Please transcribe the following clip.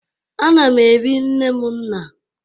A na m ebi nne m nna